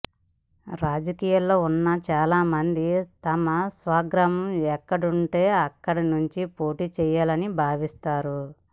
రాజకీయాల్లో ఉన్న చాలామంది తమ స్వగ్రామం ఎక్కడుంటే అక్కడి నుంచి పోటీ చేయాలని భావిస్తారు